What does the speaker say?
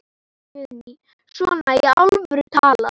Guðný: Svona í alvöru talað?